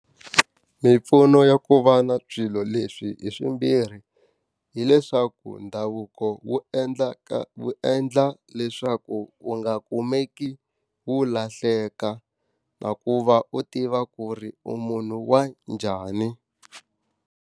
Mimpfuno ya ku va na swilo leswi hi swimbirhi, hileswaku ndhavuko wu wu endla leswaku u nga kumeki u lahleka na ku va u tiva ku ri u munhu wa njhani.